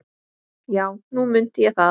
Já, nú mundi ég það.